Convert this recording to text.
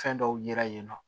Fɛn dɔw yira yen nɔ